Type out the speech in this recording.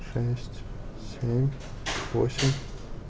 шесть семь восемь